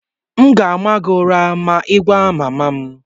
m ga-ama gị ụra ma ị gwa mama m